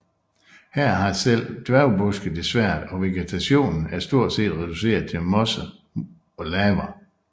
Her har selv dværgbuske det svært og vegetationen er stort set reduceret til mosser og laver